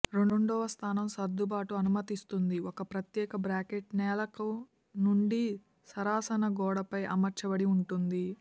రెండవ స్థానం సర్దుబాటు అనుమతిస్తుంది ఒక ప్రత్యేక బ్రాకెట్ నేలకు నుండి సరసన గోడపై అమర్చబడి ఉంటుంది